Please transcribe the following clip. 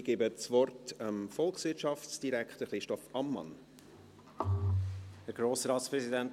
Ich geben dem Volkswirtschaftsdirektor das Wort.